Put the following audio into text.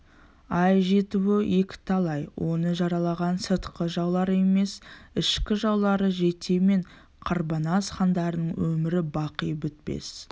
ай жетуі екіталай оны жаралаған сыртқы жаулары емес ішкі жаулары жете мен қарбанас хандарының өмір-бақи бітпес